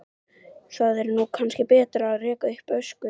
Þá er nú kannski betra að reka upp öskur.